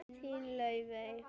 Þín, Laufey.